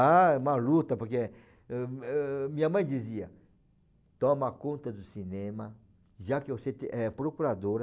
Ah, uma luta, porque minha mãe dizia, toma conta do cinema, já que você é procuradora.